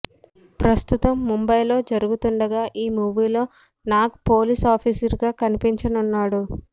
ప్రస్తుతం ముంబైలో జరుగుతుండగా ఈ మూవీ లో నాగ్ పోలీస్ ఆఫీసర్ గా కనిపించనున్నాడు